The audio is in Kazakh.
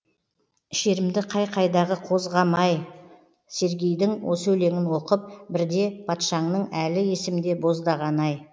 шерімді қай қайдағы қозғамай сергейдің осы өлеңін оқып бірде патшаңның әлі есімде боздағаны ай